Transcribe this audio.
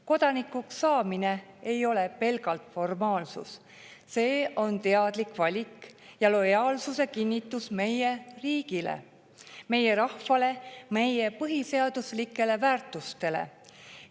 Kodanikuks saamine ei ole pelgalt formaalsus, see on teadlik valik ja lojaalsuse kinnitus meie riigile, meie rahvale, meie põhiseaduslikele väärtustele.